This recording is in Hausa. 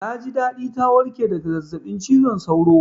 Na ji daɗi ta warƙe daga zazzaɓin cizon sauro